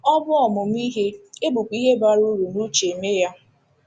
Ọ bụ ọmụmụ ihe, e bukwa ihe bara uru n’uche eme ya.